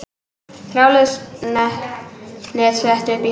Þráðlaust net sett upp í Hörpu